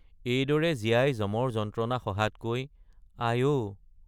এইদৰে জীয়াই যমৰ যন্ত্ৰণা সহাতকৈ আই—অ।